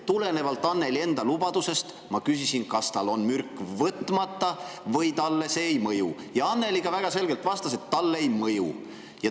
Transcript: Tulenevalt Annely enda lubadusest ma küsisin, kas tal on mürk võtmata või talle see ei mõju, ja Annely väga selgelt vastas, et talle ei mõju.